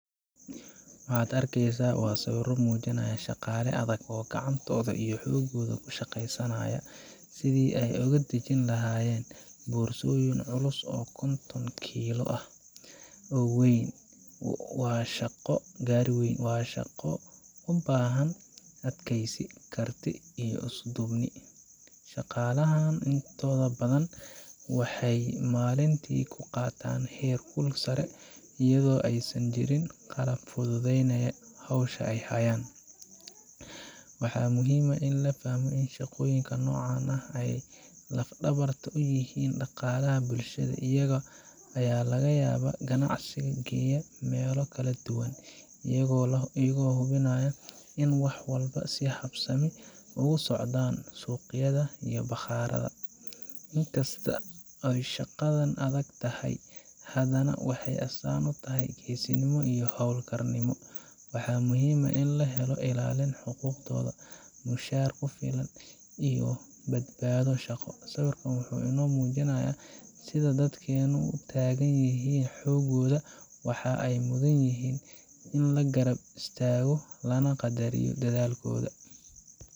Waxaad arkeysa sawira mujinaaya shaqala adag oo xogooda isticmaalka, boorsyin culus, waa shaqo ubahan adkeysi, intooda badan waxeey qaatan heer kul badan, waxaa muhiim ah in shaqoyinka nocan aay yihiin laf dabarta bulshada, in kasta aay adag tahay waxeey astaan utahay geesinimo, wuxuu mujinaaya sida dadka aay utagan yihiin xogoda, waxeey mudan yihiin in la garab istaago.